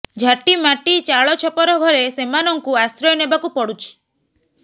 ଝାଟିମାଟି ଚାଳ ଛପର ଘରେ ସେମାନଙ୍କୁ ଆଶ୍ରୟ ନେବାକୁ ପଡୁଛି